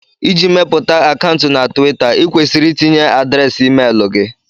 Iji mepụta akaụntụ na Twita, ịkwesịrị itinye adreesị emeli gị